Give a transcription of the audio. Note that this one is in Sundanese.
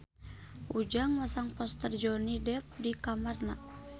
Ujang masang poster Johnny Depp di kamarna